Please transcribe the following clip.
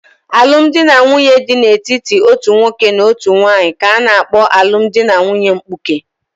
Alụmdi na nwunye dị n'etiti otu nwoke na otu nwanyị ka-ana kpo alụmdi na nwunye mkpuke